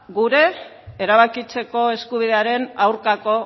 gure erabakitzeko eskubidearen aurkako